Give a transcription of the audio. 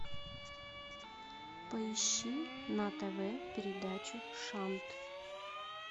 поищи на тв передачу шант